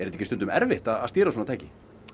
ekki stundum erfitt að stýra svona tæki